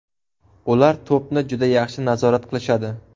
Ular to‘pni juda yaxshi nazorat qilishadi.